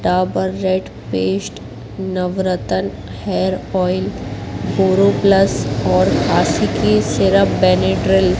Dabur red paste Navratan hair oil boro plus और खांसी की सिरप बेनाड्रिल --